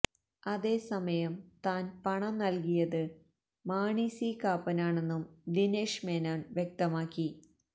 അതേസമയം താന് പണം നല്കിയത് മാണി സി കാപ്പനാണെന്നും ദിനേഷ് മേനോന് വ്യക്തമാക്കി